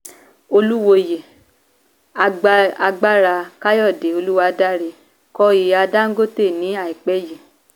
Oluwoyè a gba agbára Káyọ̀dé olúwadára kọ ìya Dangote pẹ́ yìí